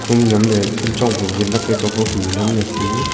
pu nen ley ku chon ley win nak ley chon pu khu nak cho ko tai.